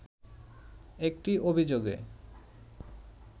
একটি অভিযোগে